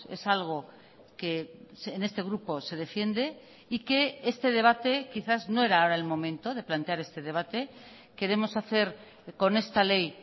es algo que en este grupo se defiende y que este debate quizás no era ahora el momento de plantear este debate queremos hacer con esta ley